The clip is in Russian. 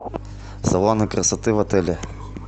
салоны красоты в отеле